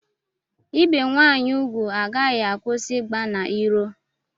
Ibi nwaanyị ugwu agaghị akwụsị ịgba n'iro.